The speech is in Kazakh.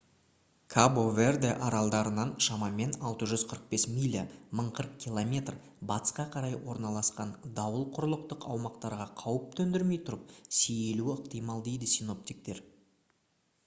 кабо-верде аралдарынан шамамен 645 миля 1040 км батысқа қарай орналасқан дауыл құрлықтық аумақтарға қауіп төндірмей тұрып сейілуі ықтимал дейді синоптиктер